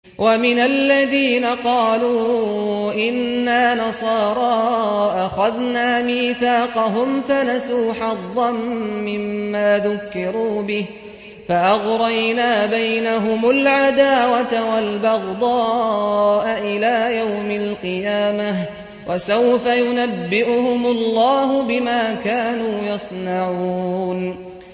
وَمِنَ الَّذِينَ قَالُوا إِنَّا نَصَارَىٰ أَخَذْنَا مِيثَاقَهُمْ فَنَسُوا حَظًّا مِّمَّا ذُكِّرُوا بِهِ فَأَغْرَيْنَا بَيْنَهُمُ الْعَدَاوَةَ وَالْبَغْضَاءَ إِلَىٰ يَوْمِ الْقِيَامَةِ ۚ وَسَوْفَ يُنَبِّئُهُمُ اللَّهُ بِمَا كَانُوا يَصْنَعُونَ